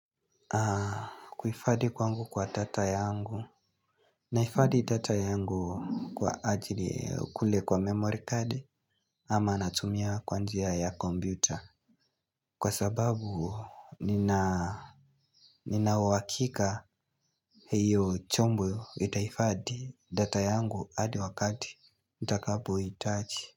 Kuifadhi kwangu kwa data yangu Naifadhi data yangu kwa ajili kule kwa memory card. Ama natumia kwa njia ya kompyuta kwa sababu nina ina uhakika hiyo chombo Itahifadhi data yangu hadi wakati nitakapo hitaji.